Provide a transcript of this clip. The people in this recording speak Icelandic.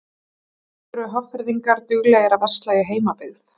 Eru Hafnfirðingar duglegir að versla í heimabyggð?